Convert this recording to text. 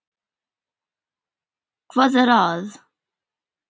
Hvað er að?